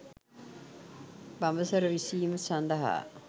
බඹසර විසීම සඳහා